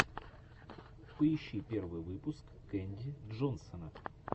поищи первый выпуск кэнди джонсона